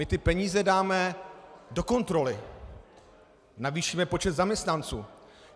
My ty peníze dáme do kontroly, navýšíme počet zaměstnanců.